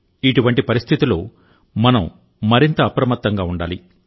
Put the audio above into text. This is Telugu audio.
ఇటువంటి పరిస్థితిలో మనం మరింత అప్రమత్తంగా ఉండాలి